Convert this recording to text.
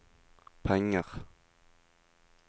penger